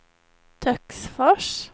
Töcksfors